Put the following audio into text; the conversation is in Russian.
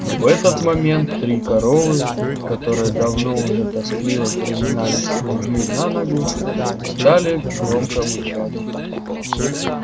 но в этот момент три коровы которые давно уже тоскливо переминались с ноги на ногу стали громко мычать